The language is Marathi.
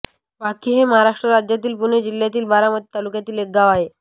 वाकी हे भारताच्या महाराष्ट्र राज्यातील पुणे जिल्ह्यातील बारामती तालुक्यातील एक गाव आहे